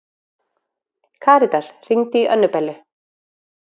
Karítas, hringdu í Önnubellu.